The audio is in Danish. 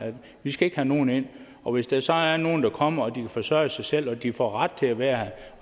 vi skal ikke have nogen ind og hvis der så er nogle der kommer og de kan forsørge sig selv og de får ret til at være her